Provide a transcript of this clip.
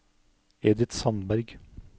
Edith Sandberg